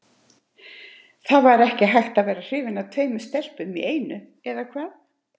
Það var ekki hægt að vera hrifinn af tveimur stelpum í einu, eða hvað?